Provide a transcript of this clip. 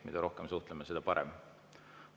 Mida rohkem me suhtleme, seda parem.